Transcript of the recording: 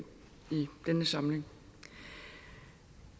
denne samling